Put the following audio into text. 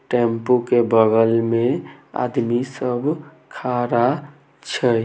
Tempo के बगल में आदमी सब खड़ा छै।